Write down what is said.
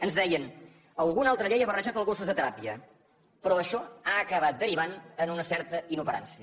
ens deien alguna altra llei ha barrejat els gossos de teràpia però això ha acabat derivant en una certa inoperància